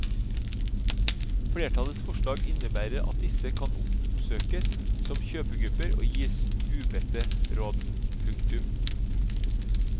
Flertallets forslag innebærer at disse kan oppsøkes som kjøpegruppe og gis ubedte råd. punktum